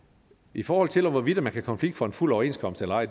i forhold til hvorvidt man kan konflikte for en fuld overenskomst eller ej